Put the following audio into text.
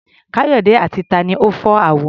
Káyọ̀dé àti ta ni ó fọ́ àwo?